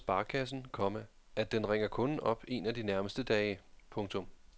Dernæst varsler sparekassen, komma at den ringer kunden op en af de nærmeste dage. punktum